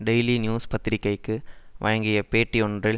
daily News பத்திரிகைக்கு வழங்கிய பேட்டியொன்றில்